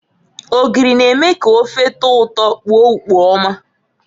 Ogiri na-eme ka ofe tọọ ụtọ kpoo ukpo ọma.